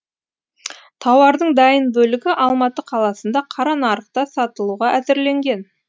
тауардың дайын бөлігі алматы қаласында қара нарықта сатылуға әзірленген